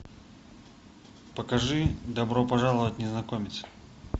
покажи добро пожаловать незнакомец